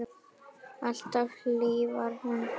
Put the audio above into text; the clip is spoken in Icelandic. Alltaf hlý var höndin þín.